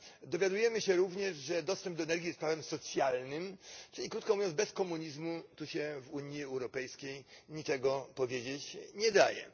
Dowiadujemy się również, że dostęp do energii jest prawem socjalnym, czyli krótko mówiąc bez komunizmu tu się w Unii Europejskiej niczego powiedzieć nie daje.